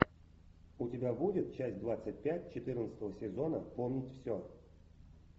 у тебя будет часть двадцать пять четырнадцатого сезона помнить все